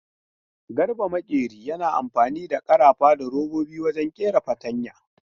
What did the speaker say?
Garba makeri yana amfani da karafa da robobi wajen kera fatanya.